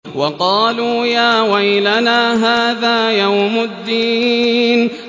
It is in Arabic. وَقَالُوا يَا وَيْلَنَا هَٰذَا يَوْمُ الدِّينِ